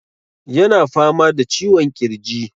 Yana fama da ciwon ƙirji.